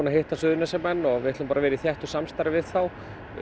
að hitta Suðurnesjamenn og við ætlum að vera í þéttu samstarfi við þá